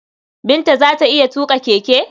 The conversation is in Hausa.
Binta za ta iya tuƙa keke?